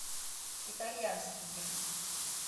итальянский гимн